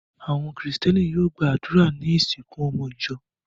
Àwọn Kìrìtẹ́ẹ́nì yóò gba àdúrà ní ìsìnkú ọmọ ìjọ.